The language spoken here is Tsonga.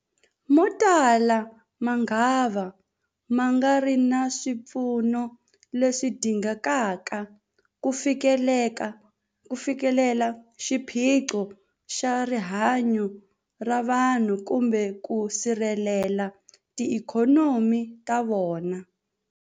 Motala mangava ma nga ri na swipfuno leswi dingekaka ku fikelela xiphiqo xa rihanyu ra vanhu kumbe ku sirhelela tiikhonomi ta vona.